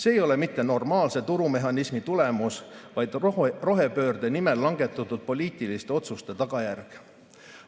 See ei ole mitte normaalse turumehhanismi tulemus, vaid rohepöörde nimel langetatud poliitiliste otsuste tagajärg.